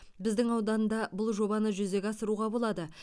біздің ауданда бұл жобаны жүзеге асыруға болады